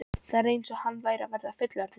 Það var eins og hann væri að verða fullorðinn.